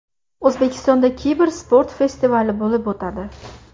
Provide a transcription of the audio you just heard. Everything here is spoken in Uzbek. O‘zbekistonda kibersport festivali bo‘lib o‘tadi.